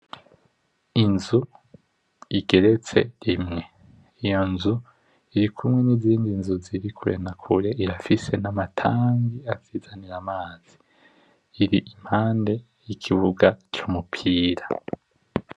Inzu igeretse rimwe, iyo nzu irikumwe nizindi nzu zirikure na kure, irafise na ma tanki azizanira amazi. Impande yikibuga cumupira.